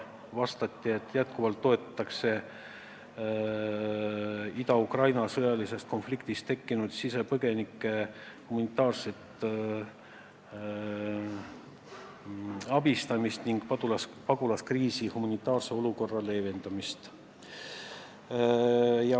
Vastus oli, et jätkuvalt toetatakse Ida-Ukraina sõjalise konflikti tõttu tekkinud sisepõgenike humanitaarset abistamist ning pagulaskriisi humanitaarse olukorra leevendamist.